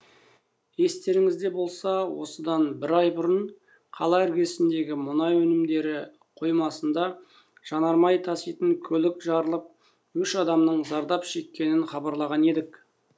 естеріңізде болса осыдан бір ай бұрын қала іргесіндегі мұнай өнімдері қоймасында жанармай таситын көлік жарылып үш адамның зардап шеккенін хабарлаған едік